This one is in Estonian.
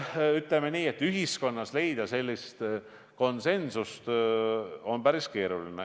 Ütleme nii, et ühiskonnas konsensust leida on päris keeruline.